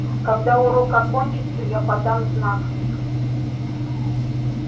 когда урок окончится я подам знак